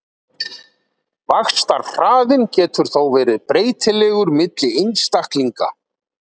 Vaxtarhraðinn getur þó verið breytilegur milli einstaklinga.